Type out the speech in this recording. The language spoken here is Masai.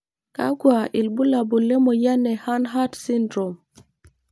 Kakwa ilbulabul lemoyian e Hanhart syndrome?